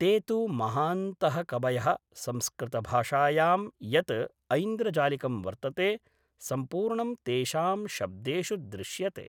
ते तु महान्तः कवयः संस्कृतभाषायां यत् ऐन्द्रजालिकं वर्तते सम्पूर्णं तेषां शब्देषु दृश्यते